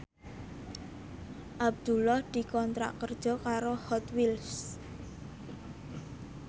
Abdullah dikontrak kerja karo Hot Wheels